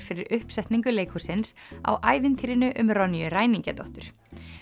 fyrir uppsetningu leikhússins á ævintýrinu um Ronju ræningjadóttur